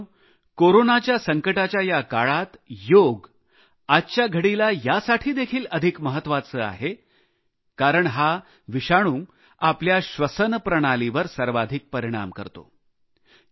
मित्रांनो कोरोनाच्या संकटाच्या या काळात योग आज यासाठी देखील अधिक महत्वाचे आहे कारण कोरोना हा विषाणू आपल्या श्वसन प्रणालीवर सर्वाधिक परिणाम करतो